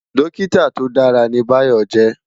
Dòkitá tó dàrá ni Bayo jè